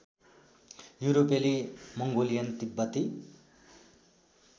युरोपेली मङ्गोलियन तिब्बती